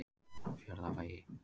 Fjarðarvegi